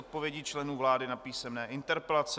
Odpovědi členů vlády na písemné interpelace